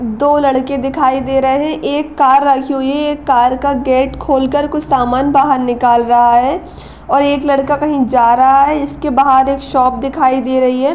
दो लड़के दिखाई दे रहे हैं एक कार रखी हुई है ये कार का गेट खोलकर कुछ सामान बहार निकाल रहा है और एक लड़का कहीं जा रहा है इसके बहार एक शॉप दिखाई दे रही है।